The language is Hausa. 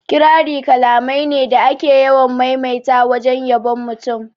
Kirari kalamai ne da ake yawan maimaita wajen yabon mutum